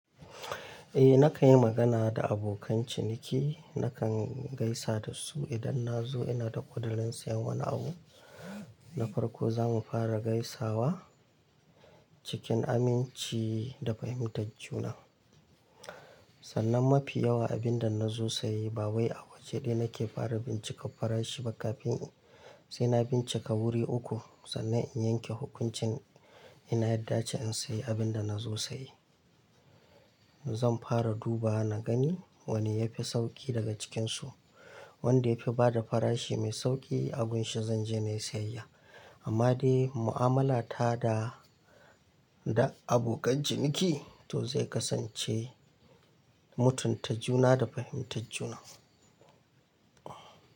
Eh, na kan yi magana da abokan ciniki. Na kan gaisa da su idan na zo ina da ƙudurin sayen wani abu. Na farko za mu fara gaisawa cikin aminci da fahimtar juna. Sannan mafi yawa abin da na zo saye ba wai a waje ɗaya na ke fara bincika farashi ba kafin sai na bincika wuri uku sannan in yanke hukunci. Ina ya da ce in sayi abin da na zo sayi. Zan fara duba na gani wane ya fi sauƙi daga cikinsu. Wanda ya fi bada farashi mai sauƙi a gun shi zan je na yi sayayya. Amma dai mu'amala ta da, da abokan ciniki to zai kasance mutunta juna da fahimtar juna.